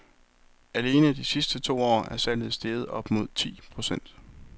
Alene de sidste to år er salget steget op mod ti procent.